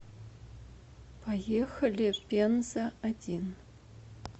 поехали пенза один